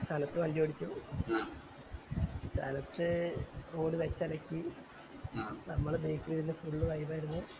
സനത്ത് വണ്ടി ഓടിച്ചു സനത്ത് road വെച്ചലക്കി നമ്മൾ back ൽ ഇരുന്ന് full vibe ആയിരുന്നു